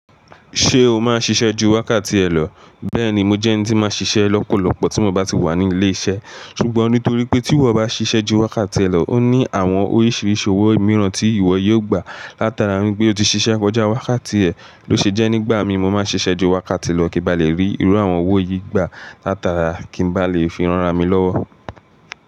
Ṣé o máa ṣiṣẹ́ ju wákàtí ẹ lọ? Bẹ́ẹ̀ni, mo jẹ́ ẹni tí máa n ṣiṣẹ́ lọ́pọ̀lọpọ̀ tí mo bá ti wà ní ilé-iṣẹ́. Sùgbón nítorí pé tí ìwọ bá ṣiṣẹ́ ju wákàtí ẹ lọ, ó ní àwọn oríṣiríṣi owó ìmíràn tí ìwọ yóò gbà látara wípé o ti ṣiṣẹ́ kọjá wákàtí ẹ, ló ṣe jẹ́ nígbà mí mo máa n ṣiṣẹ́ ju wákàtí lọ kí n ba lè rí irú àwọn owó yìí gbà látara ki n balè fi ran ara mi lówó.